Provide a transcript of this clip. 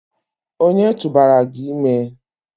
Ònye tụbara gị ime?